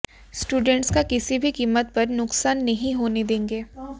students का किसी भी कीमत पर नुकसान नहीं होने देंगे